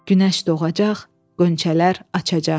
Günəş doğacaq, qonçələr açacaq.